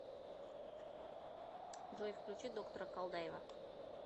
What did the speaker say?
джой включи доктора колдаева